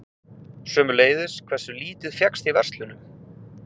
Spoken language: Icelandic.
Sömuleiðis hversu lítið fékkst í verslunum.